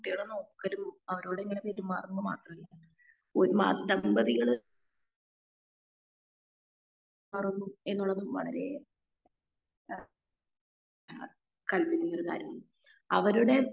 കുട്ടികളെ നോക്കലും അവരോടെങ്ങനെ പെരുമാറുമ്പോ മാത്രമേ ഒരു മാ ദമ്പതികൾ ആഹ് എന്ത് വേണം വളരെ ആ ആ കണ്ടിനവരായി അവരുടെ